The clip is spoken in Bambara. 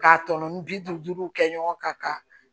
K'a tɔnɔ ni bi duuru kɛ ɲɔgɔn kan ka